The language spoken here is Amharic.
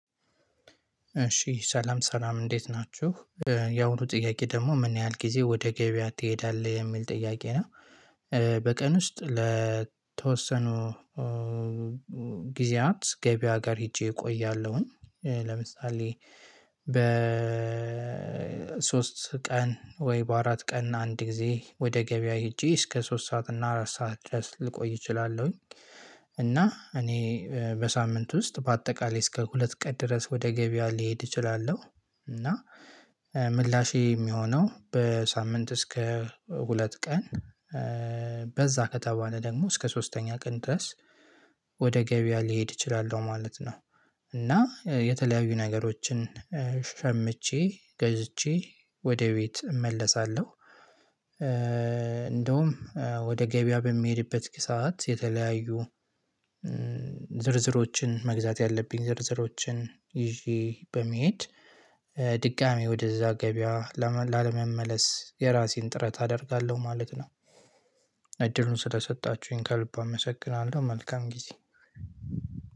እሺ ሰላም ሰላም እንዴት ናችሁ ያሁኑ ጥያቄ ደግሞ ምን ያህል ጊዜ ወደ ገበያ ትሄዳለህ የሚል ጥያቄ ነው። በቀን ውስጥ ለተወሰኑ ጊዜያት ገበያ ጋር ሄጄ እቆያለሁኝ ለምሳሌ በ ሶስት ቀን ወይ በአራት ቀን አንድ ጊዜ ወደ ገበያ ሄጄ እስከ ሶስት ሰዓት እና አራት ሰዓት ድረስ ልቆይ እችላለሁኝ። እና እኔ በሳምንት ውስጥ በአጠቃላይ እስከ ሁለት ቀን ድረስ ወደ ገበያ ሊሄድ እችላለሁ። እና ምላሼ የሚሆነው በሳምንት እስከ ሁለት ቀን በዛ ከተባለ ደግሞ እስከ ሶስተኛ ቀን ድረስ ወደ ገበያ ሊሄድ እችላለሁ ማለት ነው። እና የተለያዩ ነገሮችን ሸምቼ ገዝቼ ወደ ቤት እመለሳለሁ። እንደውም ወደ ገበያ በሚሄድበት ሰዓት የተለያዩ ዝርዝሮችን መግዛት ያለብኝ ዝርዝሮችን ይዤ በመሄድ ድጋሚ ወደዛ ገበያ ላለመመለስ የራሴን ጥረት አደርጋለሁ ማለት ነው። እድሉን ስለሰጣችሁኝ ከልብ አመሰግናለሁ። መልካም ጊዜ